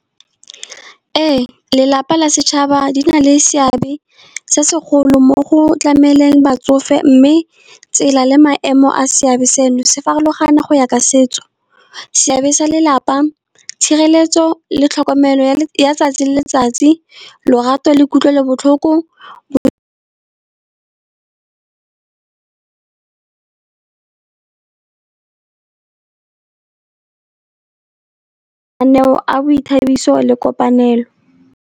Ee, lelapa la setšhaba di na le seabe se segolo mo go tlameleng batsofe, mme tsela le maemo a seabe seno se farologana go ya ka setso. Seabe sa lelapa tshireletso le tlhokomelo ya 'tsatsi le letsatsi lorato le kutlwelobotlhoko a boithabiso le kopanelo.